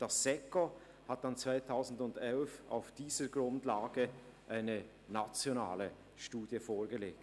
Das Staatssekretariat für Wirtschaft (SECO) hat auf dieser Grundlage im Jahr 2011 eine nationale Studie vorgelegt.